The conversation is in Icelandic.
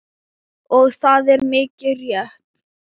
Og það er mikið rétt.